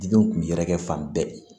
Didenw kun bɛ yɛrɛkɛ fan bɛɛ